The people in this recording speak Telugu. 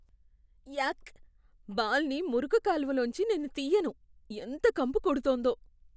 యాక్, బాల్ని మురుగు కాలువ లోంచి నేను తియ్యను. ఎంత కంపు కొడుతోందో.